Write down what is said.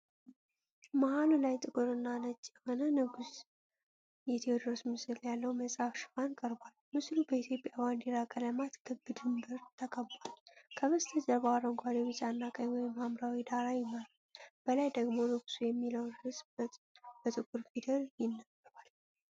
መሐሉ ላይ ጥቁርና ነጭ የሆነ ንጉሥ የቴዎድሮስ ምስል ያለው መጽሐፍ ሽፋን ቀርቧል። ምስሉ በኢትዮጵያ ባንዲራ ቀለማት ክብ ድንበር ተከቧል። ከበስተጀርባው አረንጓዴ፣ ቢጫና ቀይ ወደ ሐምራዊ ዳራ ይመራሉ፤ በላይ ደግሞ "ንጉሡ" የሚለው ርዕስ በጥቁር ፊደል ይነበባል።